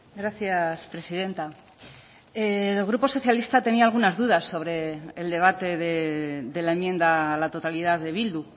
gracias presidenta el grupo socialista tenía algunas dudas sobre el debate de la enmienda a la totalidad de bildu